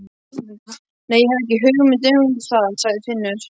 Nei, ég hef ekki hugmynd um það, sagði Finnur.